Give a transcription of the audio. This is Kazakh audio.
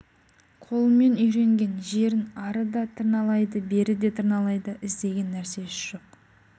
қолымен үйренген жерін ары да тырналайды бері де тырналайды іздеген нәрсесі жоқ